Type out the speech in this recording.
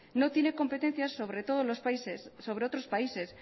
no tiene competencia sobre otros países